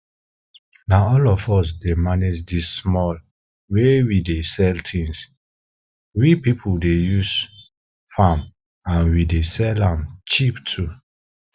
na all of us dey manage di small wey we dey sell things we people dey use farm and we dey sell am cheap too